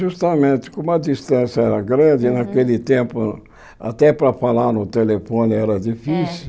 Justamente, como a distância era grande naquele tempo, até para falar no telefone era difícil.